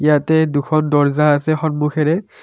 ইয়াতে দুখন দৰ্জা আছে সন্মুখেৰে।